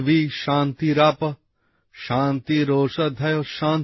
পৃথ্বী শান্তিরাপ শান্তিঃ শান্তিরোশধয়ঃ